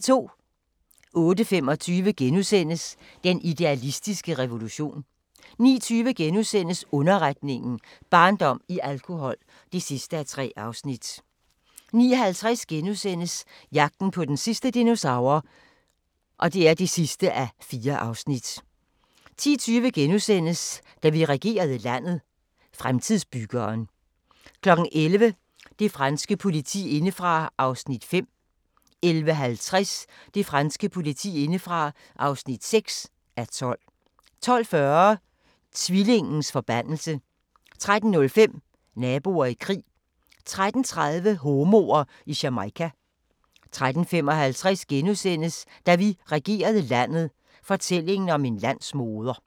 08:25: Den idealistiske revolution * 09:20: Underretningen – Barndom i alkohol (3:3)* 09:50: Jagten på den sidste dinosaur (4:4)* 10:20: Da vi regerede landet – Fremtidsbyggeren * 11:00: Det franske politi indefra (5:12) 11:50: Det franske politi indefra (6:12) 12:40: Tvillingens forbandelse 13:05: Naboer i krig 13:30: Homoer i Jamaica 13:55: Da vi regerede landet – fortællingen om en landsmoder *